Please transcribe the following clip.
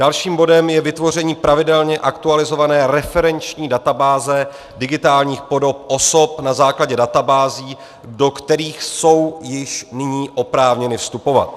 Dalším bodem je vytvoření pravidelně aktualizované referenční databáze digitálních podob osob na základě databází, do kterých jsou již nyní oprávněny vstupovat.